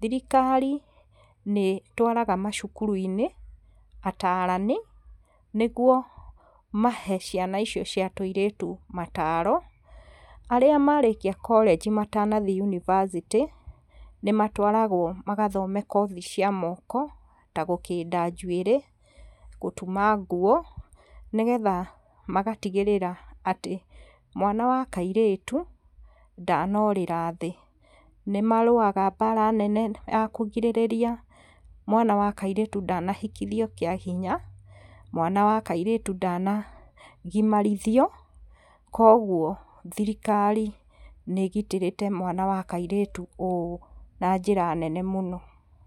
thirikari nĩ ĩtwaraga macukuru-inĩ ataarani, nĩguo mahe ciana icio cia tũirĩtu mataro, arĩa marĩkia korĩnji matanathiĩ yunibacĩtĩ nĩ matwaragwo magathome kothi cia moko ta gũkĩnda njuĩrĩ, gũtuma nguo nĩgetha magatigĩrĩra atĩ mwana wa kairĩtu ndanorĩra thĩ, nĩ marũaga mbara nene ya kũgirĩrĩria mwana wa kairĩtu ndanahikithio kĩa hinya, mwana wa kairĩtu ndanagimarithio koguo thirikari nĩ ĩgitĩrĩte mwanawa kairĩtu ũũ na njĩra nene mũno.